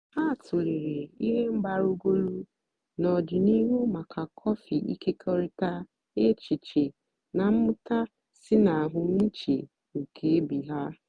ha tụ̀lèrè ihe mgbarúgọ́lù n'ọ̀dị̀nihú maka kọ́fị́ ị̀kékọ̀rị̀ta èchìchè na mmụ́ta sí ná àhụ́mị̀chè nkè ìbè ha.